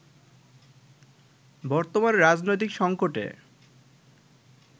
বর্তমান রাজনৈতিক সংকটে